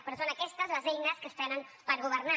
però són aquestes les eines que es tenen per governar